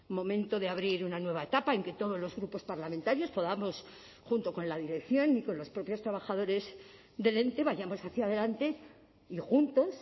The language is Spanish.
momento de abrir una nueva etapa en que todos los grupos parlamentarios podamos junto con la dirección y con los propios trabajadores del ente vayamos hacia adelante y juntos